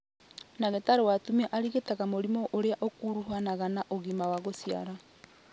Ndagĩtarĩ wa atumia arigitaga mĩrimũ ĩrĩa ĩkuruhanaga na ũgima wa gũciara